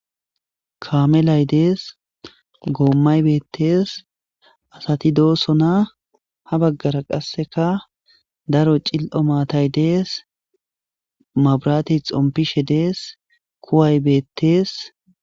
Kamelay des gomay betes asati dosona ha bagara qaseka daro cil'o matay Des mabiratey xopishe des kuway betes